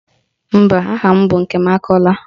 Mba, aha m bụ Nkemakọla